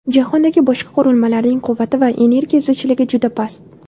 Jahondagi boshqa qurilmalarning quvvati va energiya zichligi juda past.